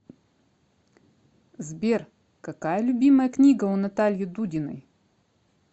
сбер какая любимая книга у натальи дудиной